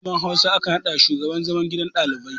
Malamar Hausa aka naɗa shugaban gidan zaman ɗalibai